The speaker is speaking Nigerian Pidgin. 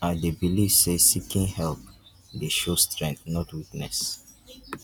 i dey believe say seeking help dey show strength not weakness